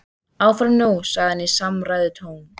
Áfram nú sagði hann í samræðutón.